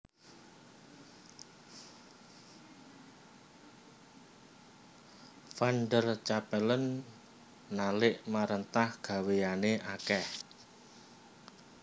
Van der Capellen nalik maréntah gawéyané akèh